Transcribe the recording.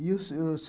E o se se